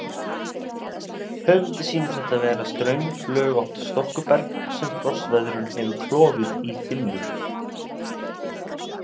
Höfundi sýnist þetta vera straumflögótt storkuberg sem frostveðrun hefur klofið í þynnur.